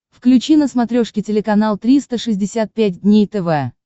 включи на смотрешке телеканал триста шестьдесят пять дней тв